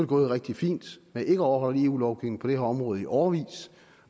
gået rigtig fint med ikke at overholde eu lovgivningen på det her område i årevis